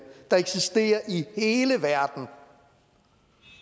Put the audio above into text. i hele verden